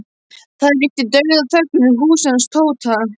Það ríkti dauðaþögn við húsið hans Tóta.